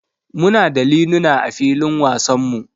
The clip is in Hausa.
Muna da liluna a filin wasanmu.